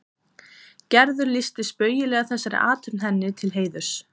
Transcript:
Gerður lýsti spaugilega þessari athöfn henni til heiðurs.